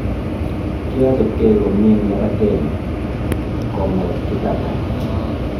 Kiachopkei komyee eng labateeni, komwa Kitata